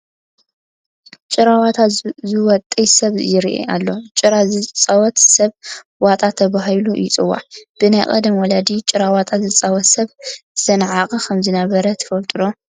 ጭራዋጣ ዝዋጥይ ስብ ይርአ ኣሎ፡፡ ጭራ ዝፃወት ሰብ ዋጣ ተባህሉ ይፅዋዕ፡፡ ብናይ ቀደም ወለዲ ጭራዋጣ ዝፃወት ሰብ ዝተናዕቐ ከምዝነበረ ትፈልጡ ዶ?